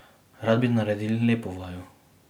Rad bi naredil lepo vajo.